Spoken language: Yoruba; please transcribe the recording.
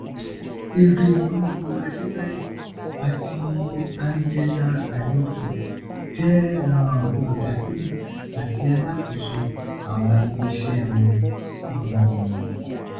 erelú adébáyọ àti angela aneke jẹ um olùdásílẹ àti alákóso àwọn iléiṣẹ wọn um